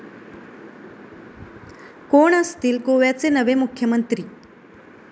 कोण असतील गोव्याचे नवे मुख्यमंत्री?